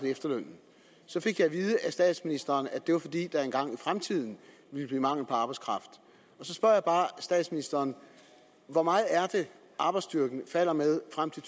efterlønnen så fik jeg at vide af statsministeren at det var fordi der engang i fremtiden ville blive mangel på arbejdskraft så spørger jeg bare statsministeren hvor meget er det arbejdsstyrken falder med frem til